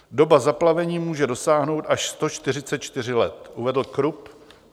Doba zaplavení může dosáhnout až 144 let, uvedl Krupp.